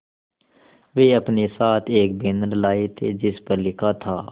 वे अपने साथ एक बैनर लाए थे जिस पर लिखा था